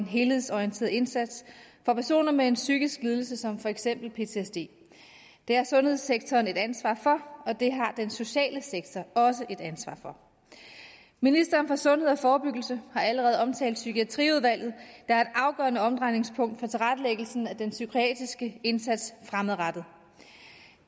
helhedsorienteret indsats for personer med en psykisk lidelse som for eksempel ptsd det har sundhedssektoren et ansvar for og det har den sociale sektor også et ansvar for ministeren for sundhed og forebyggelse har allerede omtalt psykiatriudvalget er et afgørende omdrejningspunkt for tilrettelæggelsen af den psykiatriske indsats fremadrettet